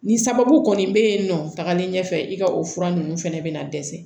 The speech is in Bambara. Nin sababu kɔni bɛ yen nɔ tagalen ɲɛfɛ i ka o fura ninnu fana bɛna dɛsɛ